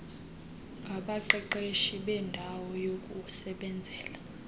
ngabaqeqeshi beendawo yokusebenzela